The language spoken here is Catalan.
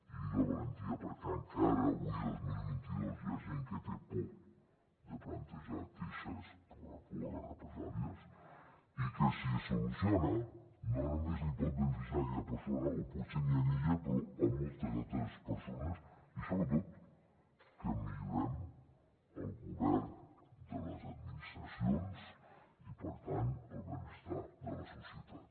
i dic la valentia perquè encara avui dos mil vint dos hi ha gent que té por de plantejar queixes per la por a les represàlies i que si es soluciona no només pot beneficiar aquella persona o potser ni a ella però a moltes altres persones i sobretot que millorem el govern de les administracions i per tant el benestar de la societat